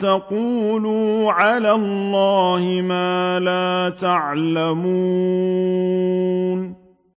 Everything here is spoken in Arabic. تَقُولُوا عَلَى اللَّهِ مَا لَا تَعْلَمُونَ